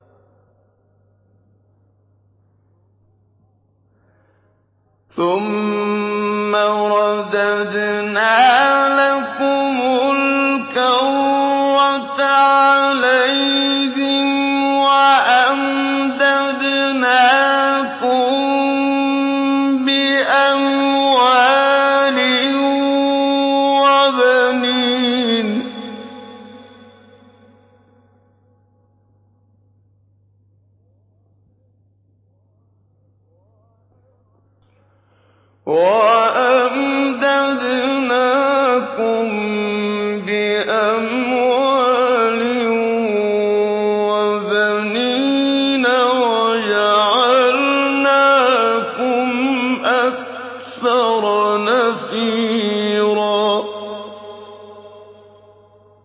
ثُمَّ رَدَدْنَا لَكُمُ الْكَرَّةَ عَلَيْهِمْ وَأَمْدَدْنَاكُم بِأَمْوَالٍ وَبَنِينَ وَجَعَلْنَاكُمْ أَكْثَرَ نَفِيرًا